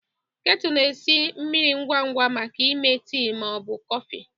Ketu na-esi mmiri ngwa ngwa maka ịme tii ma ọ bụ kọfị.